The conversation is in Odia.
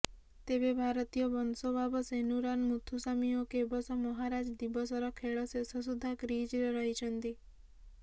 ତେବେ ଭାରତୀୟ ବଂଶୋଦ୍ଭାବ ସେନୁରାନ ମୁଥୁସାମୀ ଓ କେବଶ ମହାରାଜ ଦିବସର ଖେଳ ଶେଷ ସୁଦ୍ଧା କ୍ରିଜରେ ରହିଛନ୍ତି